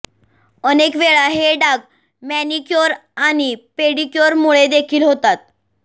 अनेक वेळा हे डाग मॅनिक्योर आणि पेडिक्योरमुळे देखील होतात